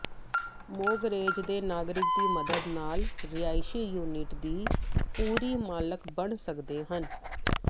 mortgage ਦੇ ਨਾਗਰਿਕ ਦੀ ਮਦਦ ਨਾਲ ਰਿਹਾਇਸ਼ੀ ਯੂਨਿਟ ਦੀ ਪੂਰੀ ਮਾਲਕ ਬਣ ਸਕਦੇ ਹਨ